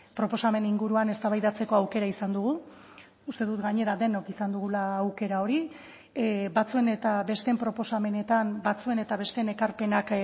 proposamen inguruan eztabaidatzeko aukera izan dugu uste dut gainera denok izan dugula aukera hori batzuen eta besteen proposamenetan batzuen eta besteen ekarpenak